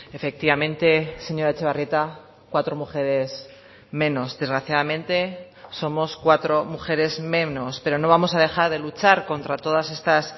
efectivamente señora etxebarrieta cuatro mujeres menos desgraciadamente somos cuatro mujeres menos pero no vamos a dejar de luchar contra todas estas